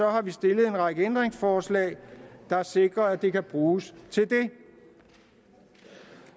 har vi stillet en række ændringsforslag der sikrer at det kan bruges til det